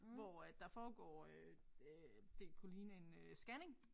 Hvor at der foregår øh øh det kunne ligne en øh scanning